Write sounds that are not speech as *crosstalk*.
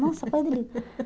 *laughs* Nossa, foi